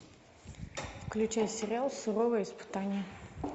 включай сериал суровое испытание